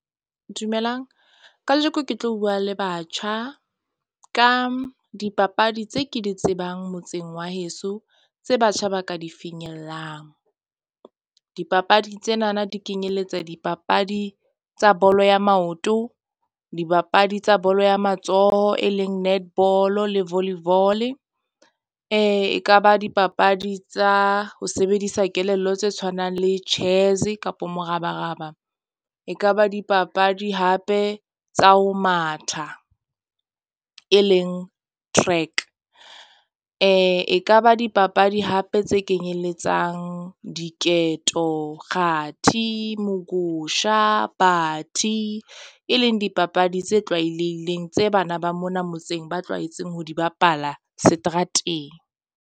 Dumelang kajeko ke tlo bua le batjha ka dipapadi tse ke di tsebang motseng wa heso tse batjha ba ka di finyellang. Dipapadi tsenana di kenyelletsa dipapadi tsa bolo ya maoto, dibapadi tsa bolo ya matsoho. E leng netball-o le volleyball-e. Ekaba dipapadi tsa ho sebedisa kelello tse tshwanang le chess kapo morabaraba. E kaba dipapadi hape tsa ho matha, e leng track e kaba dipapadi hape tse kenyelletsang diketo, kgathi, mogosha, bathi e leng dipapadi tse tlwaelehileng tse bana ba mona motseng ba tlwaetseng ho di bapala seterateng.